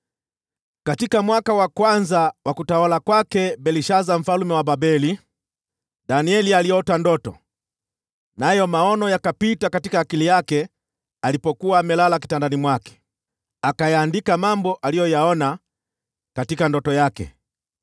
Katika mwaka wa kwanza wa utawala wa Belshaza mfalme wa Babeli, Danieli aliota ndoto, nayo maono yakapita mawazoni yake alipokuwa amelala kitandani mwake. Akayaandika mambo aliyoyaona katika ndoto yake.